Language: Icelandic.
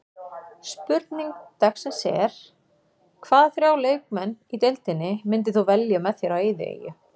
Spurning dagsins er: Hvaða þrjá leikmenn í deildinni myndir þú velja með þér á eyðieyju?